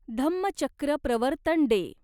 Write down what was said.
Dhammachakra Pravartan day